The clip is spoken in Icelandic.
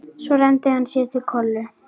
Svo renndi hann sér til Kollu.